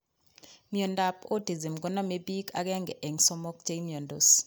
Miondap autism koname piik 1|3 chemiandos